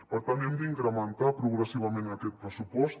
per tant hem d’incrementar progressivament aquest pressupost